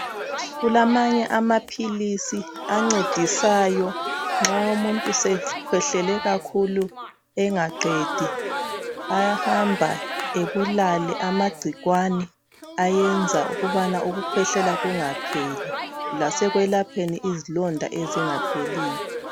Kulamanye amaphilisi ancedisayo nxa umuntu sekhwehlele kakhulu engaqedi ayahamba ebulale amagcikwane ayenza ukabana ukukhwehlela kungapheli. Lasekwelapheni izilonda ezingapheliyo.